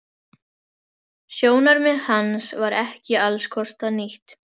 Sjónarmið hans var ekki allskostar nýtt.